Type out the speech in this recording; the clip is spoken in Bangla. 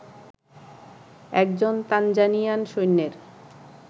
একজন তানজানিয়ান সৈন্যের